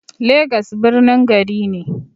Legas birnin gari ne.